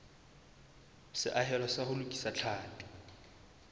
seahelo sa ho lokisa tlhapi